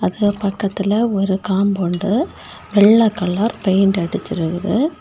அது பக்கத்தில ஒரு காம்பவுண்டு வெள்ள கலர் பெயின்ட் அடிச்சிருகுது.